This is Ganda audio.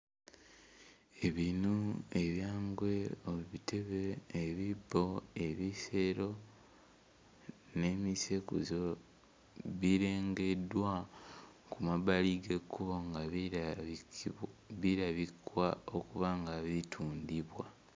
Ebinu, ebyangwe, obutebe, ebibbo, ebisero n'emisekuzo, birengeddwa ku mabbali g'ekkubo nga birabikwa okuba nga bitundibwa.